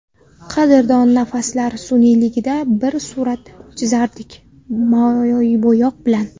Qadrdon nafaslar sun’iyligida Bir surat chizardik moybo‘yoq bilan.